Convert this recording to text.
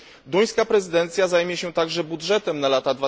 Duńska prezydencja zajmie się także budżetem na lata